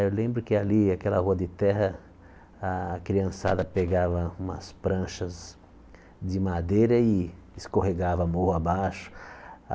Eu lembro que ali, aquela rua de terra, a criançada pegava umas pranchas de madeira e escorregava morro abaixo.